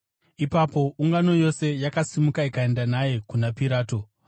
Ipapo ungano yose yakasimuka ikaenda naye kuna Pirato.